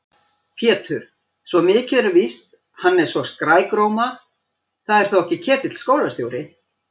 Pétur, svo mikið er víst, hann er svo skrækróma. það er þó ekki Ketill skólastjóri?